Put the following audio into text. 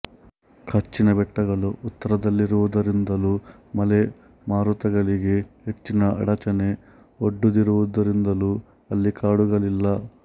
ಕಚ್ಛಿನ ಬೆಟ್ಟಗಳು ಉತ್ತರದಲ್ಲಿರುವುದರಿಂದಲೂ ಮಳೆ ಮಾರುತಗಳಿಗೆ ಹೆಚ್ಚಿನ ಅಡಚಣೆ ಒಡ್ಡದಿರುವುದರಿಂದಲೂ ಅಲ್ಲಿ ಕಾಡುಗಳಿಲ್ಲ